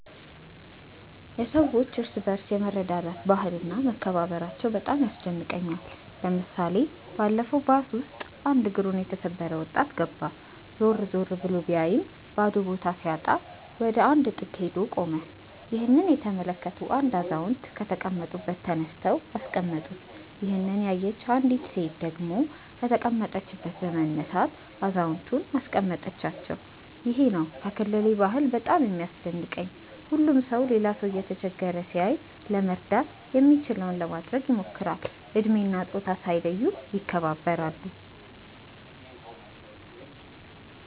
የሰዎች እርስ በርስ የመረዳዳት ባህል እና መከባበራቸው በጣም ያስደንቀኛል። ለምሳሌ ባለፈው ባስ ውስጥ አንድ እግሩን የተሰበረ ወጣት ገባ። ዞር ዞር ብሎ ቢያይም ባዶ ቦታ ሲያጣ ወደ አንድ ጥግ ሄዶ ቆመ። ይህንን የተመለከቱ አንድ አዛውንት ከተቀመጡበት ተነስተው አስቀመጡት። ይሄንን ያየች አንዲት ሴት ደግሞ ከተቀመጠችበት በመነሳት አዛውየንቱን አስቀመጠቻቸው። ይሄ ነው ከክልሌ ባህል በጣም የሚያስደንቀኝ። ሁሉም ሰው ሌላ ሰው እየተቸገረ ሲያይ ለመርዳት የሚችለውን ለማድረግ ይሞክራል። እድሜ እና ፆታ ሳይለዩ ይከባበራሉ።